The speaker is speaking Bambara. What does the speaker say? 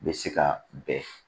Bɛ se ka bɛn